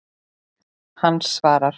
Hann svarar.